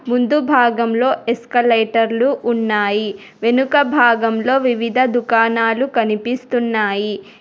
ముందు భాగంలో ఎక్స్లేటర్ ఉన్నాయి వెనుక భాగంలో వివిధ దుకాణాలు కనిపిస్తున్నాయి.